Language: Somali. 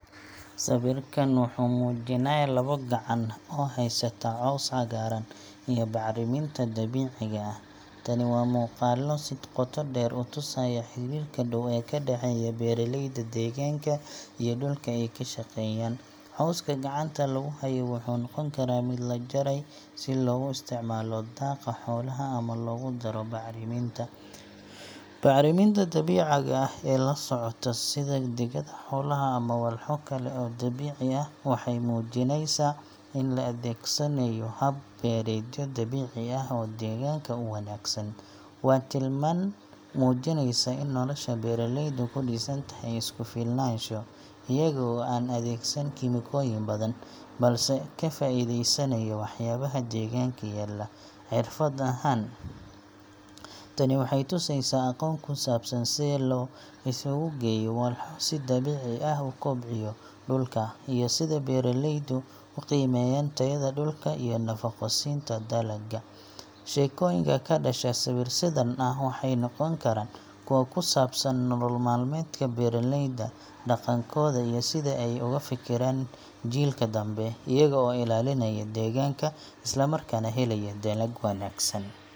Sawirkan wuxuu muujinayaa laba gacan oo haysta caws cagaaran iyo bacriminta dabiiciga ah. Tani waa muuqaallo si qoto dheer u tusaya xiriirka dhow ee ka dhaxeeya beeraleyda deegaanka iyo dhulka ay ka shaqeeyaan. Cawska gacanta lagu hayo wuxuu noqon karaa mid la jaray si loogu isticmaalo daaqa xoolaha ama loogu daro bacriminta. Bacriminta dabiiciga ah ee la socota, sida digada xoolaha ama walxo kale oo dabiici ah, waxay muujinaysaa in la adeegsanayo hab beereedyo dabiici ah oo deegaanka u wanaagsan. Waa tilmaan muujinaysa in nolosha beeraleydu ku dhisan tahay isku-filnaansho iyaga oo aan adeegsan kiimikooyin badan, balse ka faa’iideysanaya waxyaabaha deegaanka yaalla. Xirfad ahaan, tani waxay tusaysaa aqoon ku saabsan sida loo isu geeyo walxo si dabiici ah u kobciya dhulka, iyo sida beeraleydu u qiimeeyaan tayada dhulka iyo nafaqo siinta dalagga. Sheekooyinka ka dhasha sawir sidan ah waxay noqon karaan kuwo ku saabsan nolol maalmeedka beeraleyda, dhaqankooda, iyo sida ay uga fekeraan jiilka dambe iyaga oo ilaalinaya deegaanka isla markaana helaya dalag wanaagsan.